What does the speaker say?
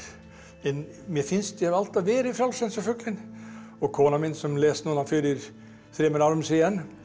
en mér finnst ég alltaf hafa verið frjáls eins og fuglinn og konan mín sem lést fyrir þremur árum síðan